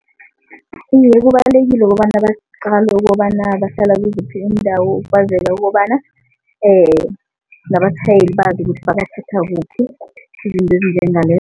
Iye, kubalulekile kobana baqale ukobana bahlala kiziphi iindawo ukwazela ukobana nabatjhayeli bazi ukuthi babathatha kuphi izinto